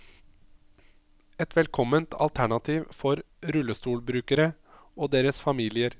Et velkomment alternativ for rullestolbrukere og deres familier.